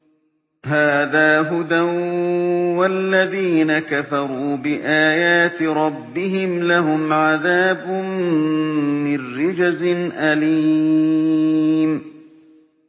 هَٰذَا هُدًى ۖ وَالَّذِينَ كَفَرُوا بِآيَاتِ رَبِّهِمْ لَهُمْ عَذَابٌ مِّن رِّجْزٍ أَلِيمٌ